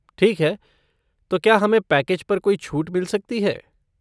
ठीक है, तो क्या हमें पैकेज पर कोई छूट मिल सकती है?